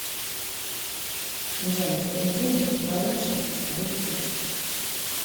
джой в понедельник в балашихе будет дождь